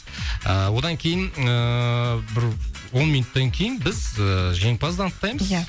ыыы одан кейін ыыы бір он минуттан кейін біз ыыы жеңімпазды анықтаймыз иә